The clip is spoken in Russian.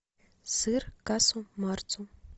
сыр касу марцу